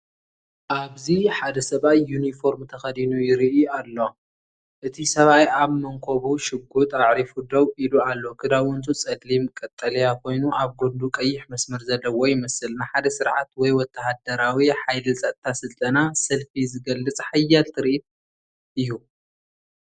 ኣብዚ ሓደ ሰብኣይ ዩኒፎርም ተኸዲኑ ይርኢ ኣሎ። እቲ ሰብኣይ ኣብ መንኵቡ ሽጉጥ ኣዕሪፉ ደው ኢሉ ኣሎ። ክዳውንቱ ጸሊም ቀጠልያ ኮይኑ ኣብ ጎድኑ ቀይሕ መስመር ዘለዎ ይመስል። ንሓደ ስርዓት ወይ ወተሃደራዊ/ሓይሊ ጸጥታ ስልጠና/ሰልፊ ዝገልጽ ሓያል ትርኢት እዩ።